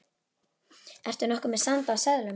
Ertu nokkuð með sand af seðlum.